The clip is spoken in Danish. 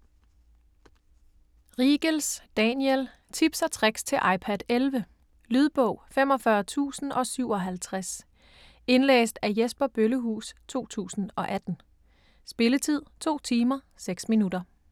Riegels, Daniel: Tips & tricks til iPad 11 Lydbog 45057 Indlæst af Jesper Bøllehuus, 2018. Spilletid: 2 timer, 6 minutter.